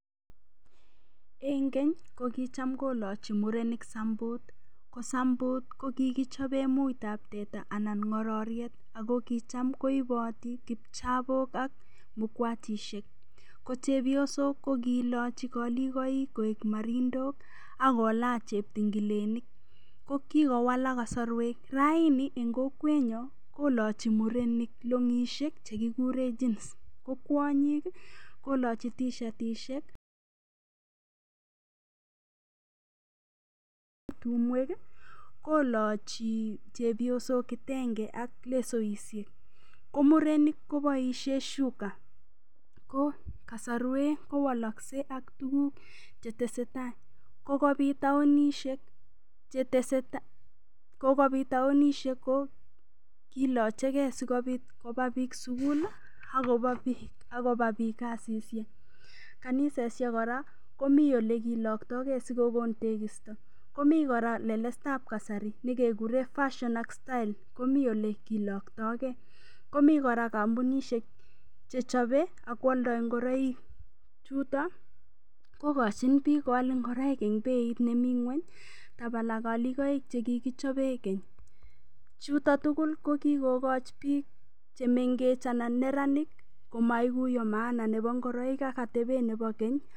En keny ko kicham kolochi murenik sambut. Ko sambut kokikichoben muitab teta anan ngororiet ago kicham koipoti kipchabok ak mukwachisiek. Ko chepysok ko kilachi koligaik koek marindok ak kolach cheptingilenik. Ko kikowalak kasarwek. Raini eng kokwenyo kolachi murenik longisiek che kikuren chinis ko kwonyik kolachi tishatisiek kolachi chepyosok kitenge ak lesoisiek. Ko murenik koboisien shuka. Ko kasarwek kowalakse ak tuguk cheteseta. Kokobit taonisiek cheteseta. Kokobit taonisiek oo kilacheke sigopit koba biik sugul ak koba biik kasisiek. Kanisosiek kora komi olekilakto ge asikokon tekisto. Komi kora lelestab kasari ne kekuren fashion ak style komi olekilaktoike. Komi kora kampunisiek che chobe ak kwolda ingoroik. Chuto kokachin biik koal ingoroik eng beit nemi ingweny tabala kalikoik che kikichobe keny. Chutok tugul ko kikokochi biik chemengech anan neranik komaiguya maana nebo ingoroik ak atebet nebo keny.